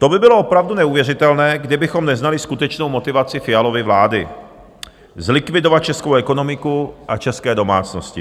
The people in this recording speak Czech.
To by bylo opravdu neuvěřitelné, kdybychom neznali skutečnou motivaci Fialovy vlády - zlikvidovat českou ekonomiku a české domácnosti.